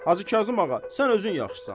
Hacı Kazım ağa, sən özün yaxşısan.